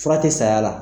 Fura tɛ saya la